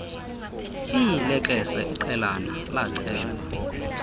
iilekese iqelana lacelwa